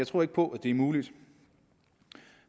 tror på at det er muligt